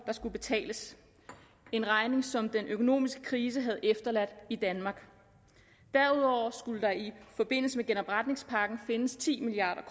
der skulle betales en regning som den økonomiske krise havde efterladt i danmark derudover skulle der i forbindelse med genopretningspakken findes ti milliard